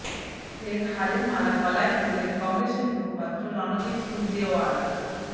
ফের হারের মালা গলায় পরলেন কংগ্রেসের মুখপাত্র রণদীপ সুরজেওয়ালা